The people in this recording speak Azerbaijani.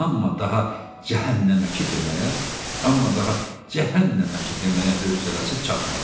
Amma daha cəhənnəməki deməyə, amma daha cəhənnəməki deməyə hövsələsi çatmadı.